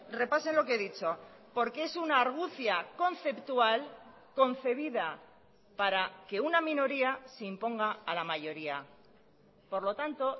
repasen lo que he dicho porque es una argucia conceptual concebida para que una minoría se imponga a la mayoría por lo tanto